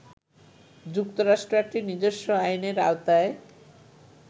যুক্তরাষ্ট্র একটি নিজস্ব আইনের আওতায়